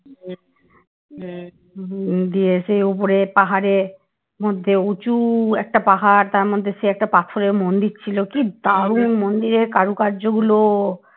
দিয়ে সেই উপরে পাহাড়ে উঁচু একটা পাহাড় তার মধ্যে একটা পাথরের মন্দির ছিল কি দারুন মন্দিরের কারুকার্য গুলো